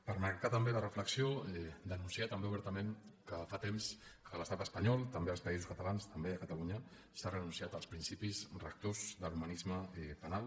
per marcar també la reflexió denunciar també obertament que fa temps que a l’estat espanyol també als països catalans també a catalunya s’ha renunciat als principis rectors de l’humanisme penal